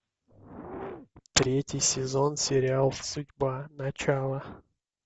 третий сезон сериал судьба начало